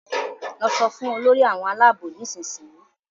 lọ so fún Olórí àwọn Àlàabò nísìsiyìí!